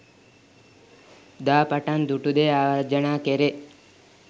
දා පටන් දුටු දේ ආවර්ජනා කෙරේ.